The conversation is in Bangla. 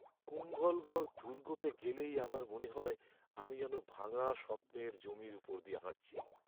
কুম্ভলগড় দুর্গতে গেলেই আমার মনে হয় আমি যেন ভাঙা স্বপ্নের জমির ওপর দিয়ে হাঁটছি।